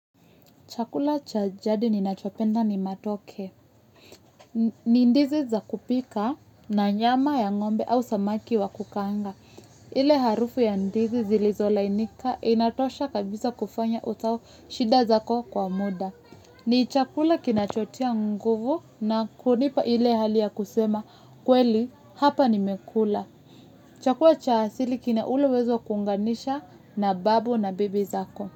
Chakula cha jadi ninachopenda ni matoke. Ni ndizi za kupika na nyama ya ngombe au samaki wa kukaanga. Ile harufu ya ndizi zilizolainika inatosha kabisa kufanya utoe shida za kwa muda. Ni chakula kinachotia nguvu na kunipa ile hali ya kusema kweli hapa nimekula. Chakula cha asili kina ule uwezo kuunganisha na babu na bibi zako.